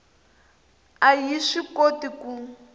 a yi swi koti ku